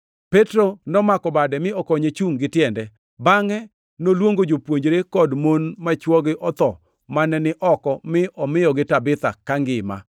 Petro nomako bade mi okonye chungʼ gi tiende. Bangʼe noluongo jopuonjre kod mon ma chwogi otho mane ni oko mi omiyogi Tabitha kangima.